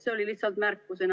See oli lihtsalt märkusena.